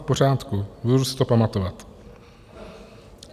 V pořádku, budu si to pamatovat.